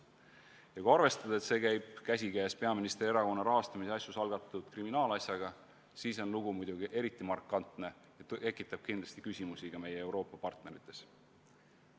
Ja kui arvestada, et see käib käsikäes peaministri erakonna rahastamise asjus algatatud kriminaalasjaga, siis on lugu muidugi eriti markantne ja tekitab kindlasti küsimusi ka meie Euroopa partnerites.